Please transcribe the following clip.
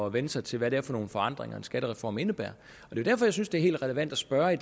at vænne sig til hvad det er for nogle forandringer en skattereform indebærer derfor synes jeg det er helt relevant at spørge og at